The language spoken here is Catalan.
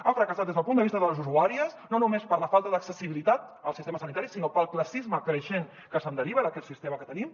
ha fracassat des del punt de vista de les usuàries no només per la falta d’accessibilitat al sistema sanitari sinó pel classisme creixent que se’n deriva d’aquest sistema que tenim